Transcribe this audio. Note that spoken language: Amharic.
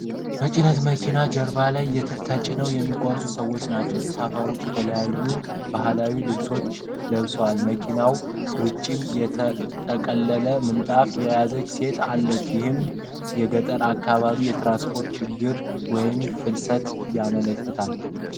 በጭነት መኪና ጀርባ ላይ ተጭነው የሚጓዙ ሰዎች ናቸው። ተሳፋሪዎቹ የተለያዩ ባህላዊ ልብሶችን ለብሰዋል ። ከመኪናው ውጭም የተጠቀለለ ምንጣፍ የያዘች ሴት አለች ። ይህም የገጠር አካባቢን የትራንስፖርት ችግር ወይም ፍልሰትን ያመለክታል።